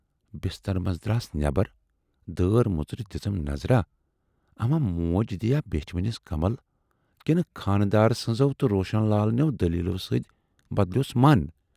بِسترٕ منزٕ دراس نٮ۪برَ، دٲر مُژرِتھ دِژٕم نظر اما موج دِیا بیچھِ وٕنِس کمل کِنہٕ خانہٕ دارٕ سٕنزو تہٕ روشن لال نٮ۪و دٔلیٖلو سۭتۍ بدلٮ۪وس مَن۔